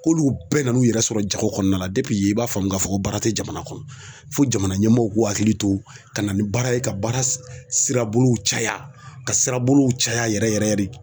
K'olu bɛɛ n'u yɛrɛ sɔrɔ jago kɔnɔna na i b'a faamu k'a fɔ baara tɛ jamana kɔnɔ fo jamana ɲɛmaaw k'u hakili to ka na ni baara ye ka baara sira bolow caya ka sira bolow caya yɛrɛ yɛrɛ yɛrɛ de.